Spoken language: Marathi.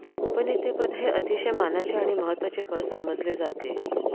उपनेतेपद हे अतिशय मानाचे आणि महत्वाचे पद समजले जाते